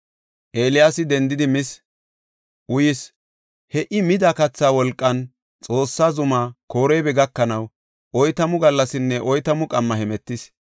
Eeliyaasi dendidi mis, uyis. He I mida kathaa wolqan Xoossa Zumaa Koreeba gakanaw oytamu gallasinne oytamu qamma hemetis.